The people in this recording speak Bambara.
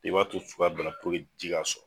I b'a to fo i ka banaforo in ji' k'a sɔrɔ